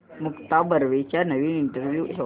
मुक्ता बर्वेचा नवीन इंटरव्ह्यु शोध